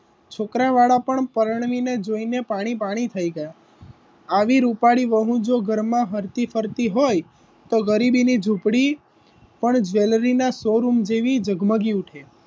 છોકરા વાડા પણ પરણવીને જોઈને પાણી પાણી થઈ ગયા આવી રૂપાળી વહુ જો ઘરમાં હરખી ફરતી હોય તો ગરીબીની ઝૂંપડી પણ જ્વેલરીના showroom જેવી જગમગી ઉઠે.